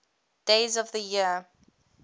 days of the year